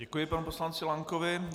Děkuji panu poslanci Lankovi.